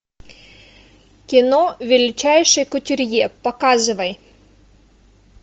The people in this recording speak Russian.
кино величайший кутюрье показывай